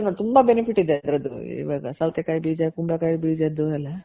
ತುಂಬ benefit ಇದೆ ಅದ್ರದು ಸೌತೆ ಕಾಯಿ ಬೀಜ ಕುಂಬಳ ಕಾಯಿ ಬೀಜದ್ದು ಎಲ್ಲ